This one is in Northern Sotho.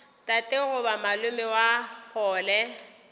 tate goba malome wa kgole